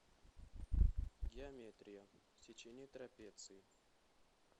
геометрия сечение трапеции